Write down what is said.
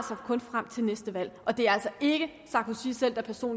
frem til næste valg og det er altså ikke sarkozy selv der